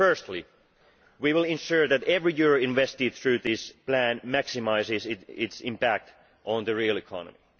Firstly, we will ensure that every euro invested through this plan maximises its impact on the real economy.